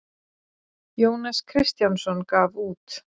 Jónas Kristjánsson gaf út.